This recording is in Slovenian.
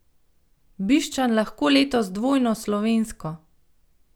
Bišćan lahko letos dvojno slovensko.